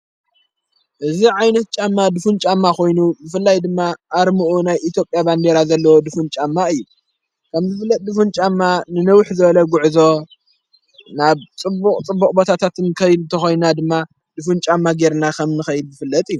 እዝ ዓይነት ጫማ ድፉን ጫማ ኾይኑ ብፍላይ ድማ ኣርምኡ ናይ ኢቲዮጴያ ባንዴራ ዘለዎ ድፉን ጫማ እዩ ከም ዝፍለጥ ድፉንጫማ ንንውሕ ዝበለጕዕዞ ናብ ጽቡቕ ጽቡቕ ቦታታትን ንከይድ ተኾይንና ድማ ድፉንጫማ ጌይርና ኸምንኸይድ ዝፍለጥ እዩ።